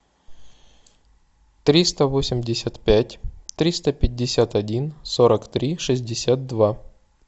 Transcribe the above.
триста восемьдесят пять триста пятьдесят один сорок три шестьдесят два